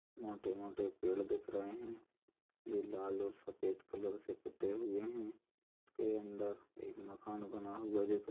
मोटे-मोटे पेड़ दिख रहे है जो लाल और सफ़ेद कलर से पुते हुए है उसके अंदर एक मकान बना हुआ दिख--